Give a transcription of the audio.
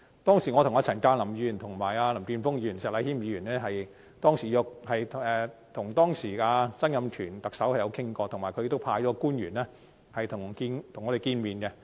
當時我曾經和陳鑑林議員、林健鋒議員和石禮謙議員跟當時的特首曾蔭權討論，他亦派出官員與我們會面。